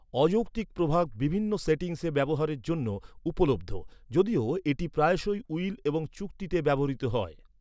অযৌক্তিক প্রভাব বিভিন্ন সেটিংসে ব্যবহারের জন্য উপলব্ধ, যদিও এটি প্রায়শই উইল এবং চুক্তিতে ব্যবহৃত হয়।